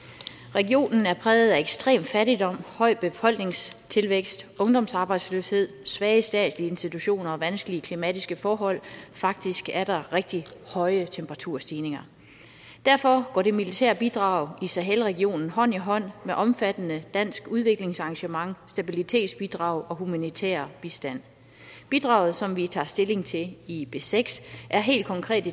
regionen er præget af ekstrem fattigdom høj befolkningstilvækst ungdomsarbejdsløshed svage statslige institutioner og vanskelige klimatiske forhold faktisk er der rigtig høje temperaturstigninger derfor går det militære bidrag i sahel regionen hånd i hånd med et omfattende dansk udviklingsengagement stabilitetsbidrag og humanitær bistand bidraget som vi tager stilling til i b seks er helt konkret